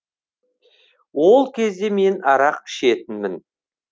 ол кезде мен арақ ішетінмін